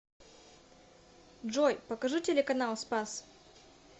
джой покажи телеканал спас